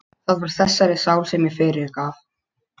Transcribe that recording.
Það var þessari sál sem ég fyrirgaf.